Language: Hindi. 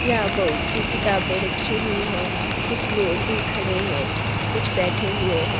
यह बहुत सी किताबें रखी हुई हैं कुछ लोग भी खड़े हैं कुछ बैठे हुए हैं।